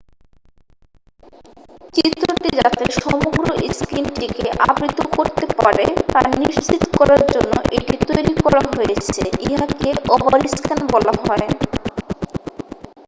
চিত্রটি যাতে সমগ্র স্ক্রিনটিকে আবৃত করতে পারে তা নিশ্চিৎ করার জন্য এটি তৈরি করা হয়েছে ইহাকে ওভারস্ক্যান বলা হয়